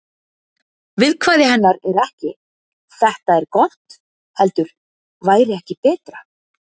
Viðkvæði hennar er ekki: Þetta er gott heldur: Væri ekki betra.